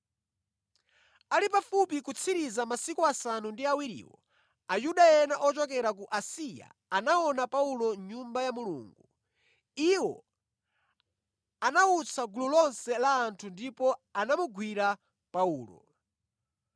Ali pafupi kutsiriza masiku asanu ndi awiriwo, Ayuda ena ochokera ku Asiya anaona Paulo mʼNyumba ya Mulungu. Iwo anawutsa gulu lonse la anthu ndipo anamugwira Paulo,